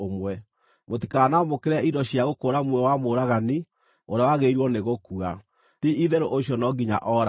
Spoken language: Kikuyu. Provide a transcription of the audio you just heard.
“ ‘Mũtikanamũkĩre indo cia gũkũũra muoyo wa mũũragani, ũrĩa wagĩrĩirwo nĩ gũkua. Ti-itherũ ũcio no nginya ooragwo.